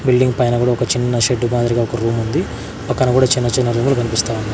Building పైన గుడ ఒక చిన్న షెడ్డు మాదిరిగా ఒక రూముంది పక్కన కుడా చిన్న చిన్న రూము లు కన్పిస్తా ఉన్నాయ్.